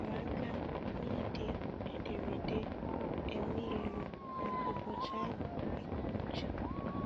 Ha tinyere aka na na - ide ederede emailu maka ụbọchị ahụ ike uche.